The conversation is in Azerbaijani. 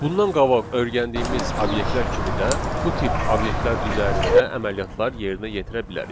Bundan qabaq öyrəndiyimiz obyektlər kimi də bu tip obyektlər üzərində əməliyyatlar yerinə yetirə bilərik.